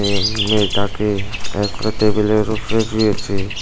এ মেয়েটাকে টেবিলের উপরে রয়েছে।